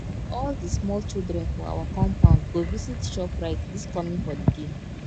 all di small children for our compound go visit shoprite dis coming holiday